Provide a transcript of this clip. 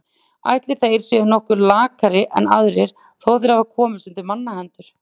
Ætli þeir séu nokkuð lakari en aðrir þó þeir hafi komist undir mannahendur.